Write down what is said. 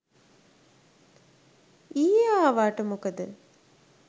ඊයෙ ආවාට මොකද